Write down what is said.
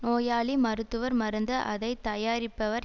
நோயாளி மருத்துவர் மருந்து அதை தயாரிப்பவர்